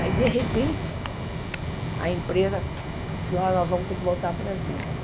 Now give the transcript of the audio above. Aí, de repente, a empresa, senhora nós vamos ter que voltar para o Brasil.